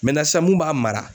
sisan mun b'a mara